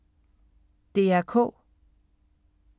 DR K